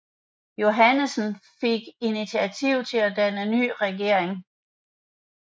Johannesen fik initiativet til at danne ny regering